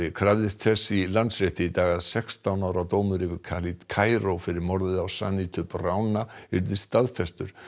krafðist þess í Landsrétti í dag að sextán ára dómur yfir Khaled Cairo fyrir morðið á Sanitu Brauna yrði staðfestur